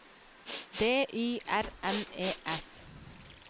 D Y R N E S